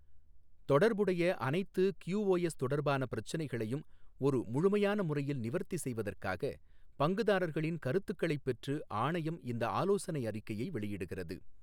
தொடர்புடைய அனைத்து கியூஓஎஸ் தொடர்பான பிரச்சினைகளையும் ஒரு முழுமையான முறையில் நிவர்த்தி செய்வதற்காக, பங்குதாரர்களின் கருத்துக்களைப் பெற்று ஆணையம் இந்த ஆலோசனை அறிக்கையை வெளியிடுகிறது.